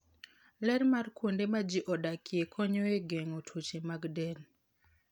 Ler mar kuonde ma ji odakie konyo e geng'o tuoche mag del.